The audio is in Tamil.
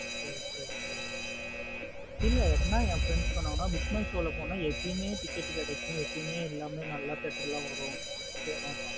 Okay okay okay இல்ல எப்டின என் friend சொன்னங்கானா book my show லா போன எப்பவுமே ticket கிடைக்கும். எப்பவுமே எல்லாமே நல்ல theatre வரும். சேரி சேரி